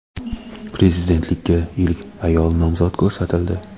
Prezidentlikka ilk ayol nomzod ko‘rsatildi.